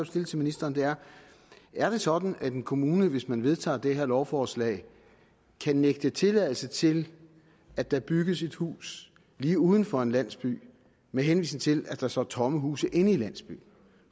stille til ministeren er er det sådan at en kommune hvis man vedtager det her lovforslag kan nægte tilladelse til at der bygges et hus lige uden for en landsby med henvisning til at der står tomme huse inde i landsbyen